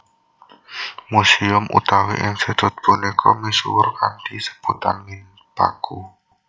Museum utawi institut punika misuwur kanthi sebutan Minpaku